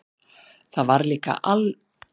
Það var líka alveg eins gott.